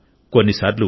బారా కథను చెబుతుంది